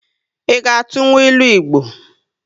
I ga atụnwu ịlụ Igbo?